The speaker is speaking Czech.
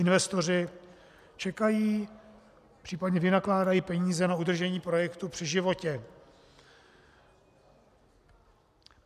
Investoři čekají, případně vynakládají peníze na udržení projektu při životě.